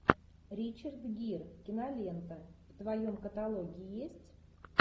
ричард гир кинолента в твоем каталоге есть